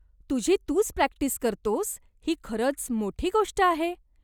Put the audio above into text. तुझी तूच प्रॅक्टिस करतोस ही खरंच मोठी गोष्ट आहे.